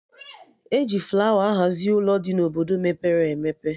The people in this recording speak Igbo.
E ji flawa ahazi Ụlọ dị na Obodo mepere emepe